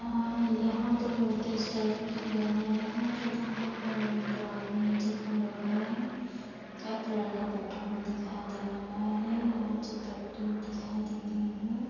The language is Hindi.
आ यहाँ दो लड़के स्टेज पे खड़े हुए हैं तथा यहाँ पर दो आदमी निचे खड़े हुए हैं। एक लड़का बैठा हुआ दिखाई दे रहा है। यहाँ चप्पल पड़ी हुई दिखाई दे रही है।